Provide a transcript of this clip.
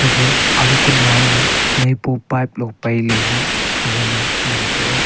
gapha aga kunam ma naipo pipe lo pailailey gagana ngan taiga.